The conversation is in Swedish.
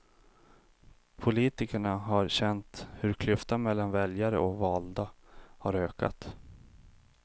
Politikerna har känt hur klyftan mellan väljare och valda har ökat.